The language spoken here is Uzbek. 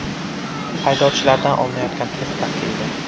Haydovchilardan olinayotgan test tahlili.